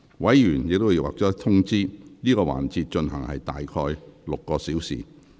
委員已獲通知，這個環節會進行約6小時。